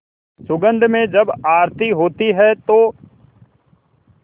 सुगंध में जब आरती होती है तो